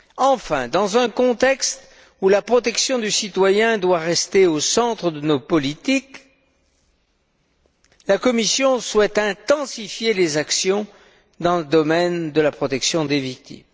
Enfin, dans un contexte où la protection du citoyen doit rester au centre de nos politiques, la Commission souhaite intensifier les actions en faveur de la protection des victimes.